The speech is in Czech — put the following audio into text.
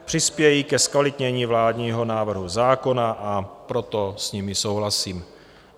Přispějí ke zkvalitnění vládního návrhu zákona, a proto s nimi souhlasím.